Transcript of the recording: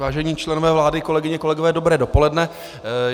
Vážení členové vlády, kolegyně, kolegové, dobré dopoledne.